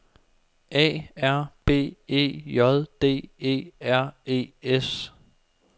A R B E J D E R E S